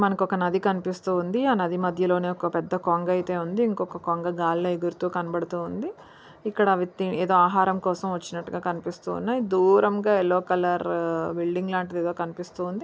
మనకు ఒక నాది కనిపిస్తుంది ఆ నది మధ్యలోనే ఒక పెద్ద కొంగ అయితే ఉంది ఇంకొక కొంగ గాలిలో ఎగురుతూ కనబడుతోంది ఇక్కడ ఏదో ఆహారం కోసం వచ్చినట్టు కనిపిస్తున్నాయి దూరంగా ఎల్లో కలర్ బిల్డింగ్ లాంటిది ఏదో కనిపిస్తుంది